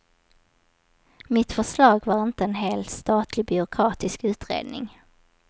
Mitt förslag var inte en hel statlig byråkratisk utredning.